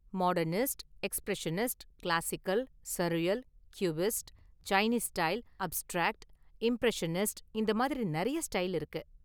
Modernist, expressionist, classical, surreal, cubist, Chinese style, abstract, impressionist இந்த மாதிரி நிறைய ஸ்டைல் இருக்கு.